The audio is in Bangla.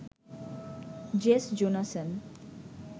Jess Jonassen